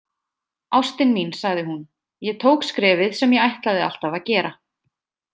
Ástin mín, sagði hún, „ég tók skrefið sem ég ætlaði alltaf að gera“